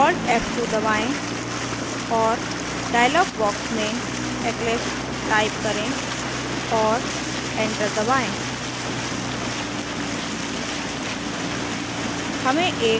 alt f2 दबाएं और dialog box में eclipse type करें और enter दबाएं